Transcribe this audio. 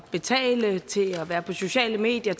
betale med til at være på sociale medier